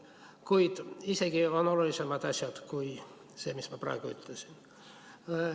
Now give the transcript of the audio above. Kuid on isegi olulisemaid asju kui see, mis ma praegu ütlesin.